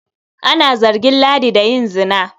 Ana zargin Ladi da yin zina.